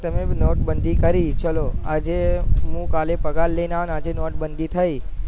તમે નોટ બધી કરી ચાલો આજે હું કાલે પગાર લઈને આવ્યો અને આજે નોટ બાંધી થઇ